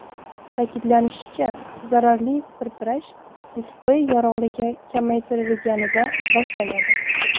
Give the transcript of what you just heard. Ta’kidlanishicha, zararli pirpirash displey yorug‘ligi kamaytirilganida boshlanadi.